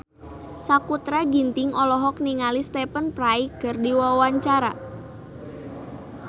Sakutra Ginting olohok ningali Stephen Fry keur diwawancara